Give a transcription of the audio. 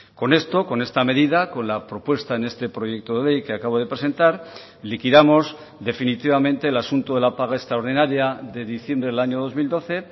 con esto con esta medida con la propuesta en este proyecto de ley que acabo de presentar liquidamos definitivamente el asunto de la paga extraordinaria de diciembre del año dos mil doce